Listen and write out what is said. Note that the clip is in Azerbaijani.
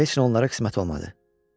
Heç nə onlara qismət olmadı.